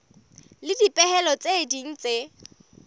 le dipehelo tse ding tse